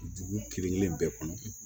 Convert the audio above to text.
Dugu kelen kelen bɛɛ kɔnɔ